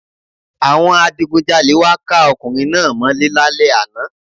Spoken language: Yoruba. Àwọn adigunjalè wá ká ọkùnrin náá mọ́ lé lálẹ́ àná